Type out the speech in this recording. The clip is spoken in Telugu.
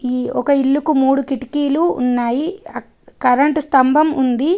ఈ ఒక ఇల్లుకు మూడు కిటికీలు ఉన్నాయి ఆ కరెంటు స్తంభం ఉంది.